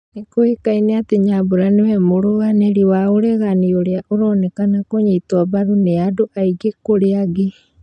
Nĩkũĩkaine atĩ Nyambura nĩwe mũrũanĩri wa ũregano ũria ũronekane kũnyitwo mbaru nĩ andũ aingĩ kũrĩ angi